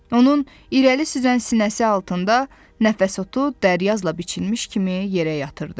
Onun irəli süzən sinəsi altında nəfəs otu dəryazla biçilmiş kimi yerə yatırdı.